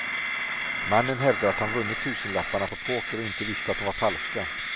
Mannen hävdar att han vunnit tusenlapparna på poker och inte visste att de var falska.